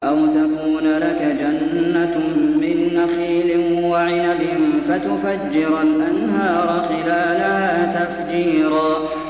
أَوْ تَكُونَ لَكَ جَنَّةٌ مِّن نَّخِيلٍ وَعِنَبٍ فَتُفَجِّرَ الْأَنْهَارَ خِلَالَهَا تَفْجِيرًا